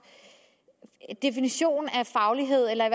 definition af faglighed eller i